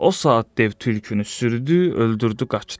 O saat dev tülkünü sürdü, öldürdü, qaçdı.